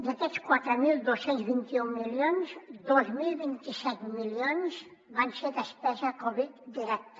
d’aquests quatre mil dos cents i vint un milions dos mil vint set milions van ser despesa covid directa